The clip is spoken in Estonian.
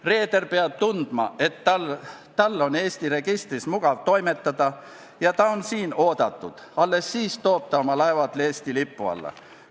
Reeder peab tundma, et tal on Eesti registris mugav toimetada ja ta on siin oodatud, alles siis toob ta oma laevad Eesti lipu alla.